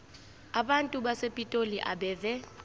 abantu basepitoli abeve